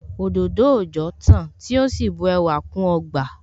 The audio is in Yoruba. Òdòdó òòjọ́ tán tí ó sì bu ẹwà kún ọgbà